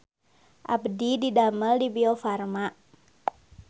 Abdi didamel di Biofarma